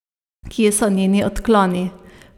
Kje so njeni odkloni?